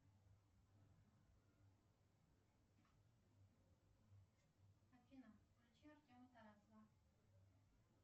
афина включи артема тарасова